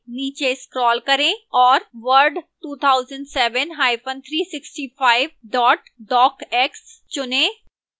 नीचे scroll करें और word 2007365 docx चुनें